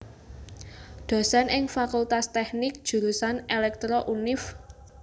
Dosen ing Fakultas Teknik Jurusan Elektro Univ